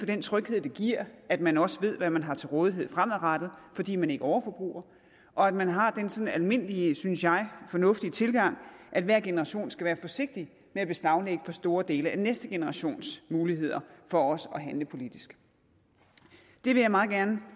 den tryghed det giver at man også ved hvad man har til rådighed fremadrettet fordi man ikke overforbruger og at man har den sådan almindelige synes jeg fornuftige tilgang at hver generation skal være forsigtig med at beslaglægge for store dele af næste generations muligheder for også at handle politisk vil jeg meget gerne